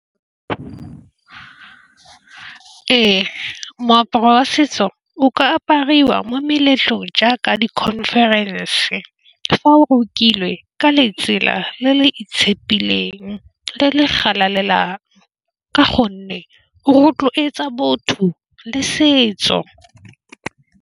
Ee, moaparo wa setso o ka apariwa mo meletlong jaaka di-conference fa o rokilwe ka letsela le le e tshepileng le le galalelang ke go nne go rotloetsa botho le setso.